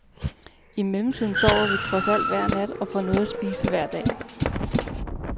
I mellemtiden sover vi trods alt hver nat, og får noget at spise hver dag.